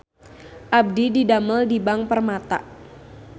Abdi didamel di Bank Permata